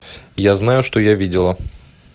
я знаю что я видела